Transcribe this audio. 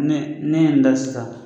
Ni ne ye n da san.